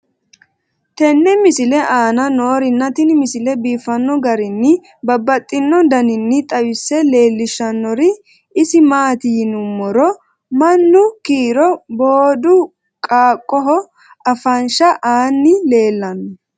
tenne misile aana noorina tini misile biiffanno garinni babaxxinno daniinni xawisse leelishanori isi maati yinummoro mannu kiiro booddu qaaqoho afansha aanni leelanno